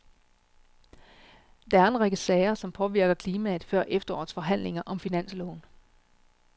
Der er en række sager, som påvirker klimaet før efterårets forhandlinger om finansloven.